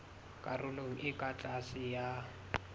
karolong e ka tlase ya